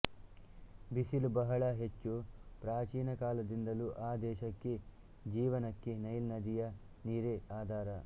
ಬಿಸಿಲು ಬಹಳ ಹೆಚ್ಚು ಪ್ರಾಚೀನ ಕಾಲದಿಂದಲೂ ಆ ದೇಶದ ಜೀವನಕ್ಕೆ ನೈಲ್ ನದಿಯ ನೀರೇ ಆಧಾರ